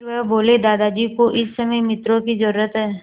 फिर वह बोले दादाजी को इस समय मित्रों की ज़रूरत है